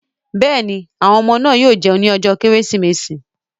Yes, the children will eat on Christmas day